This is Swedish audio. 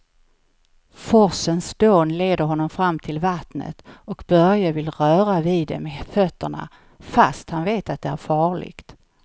Forsens dån leder honom fram till vattnet och Börje vill röra vid det med fötterna, fast han vet att det är farligt.